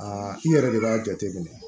Aa i yɛrɛ de b'a jateminɛ